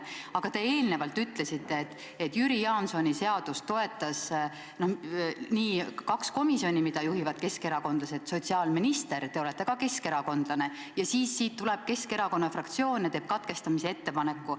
Aga te eelnevalt ütlesite, et Jüri Jaansoni seadust toetasid nii kaks komisjoni, mida juhivad keskerakondlased, kui ka teie sotsiaalministrina, kes te olete ka keskerakondlane, aga siis tuli Keskerakonna fraktsioon ja tegi katkestamise ettepaneku.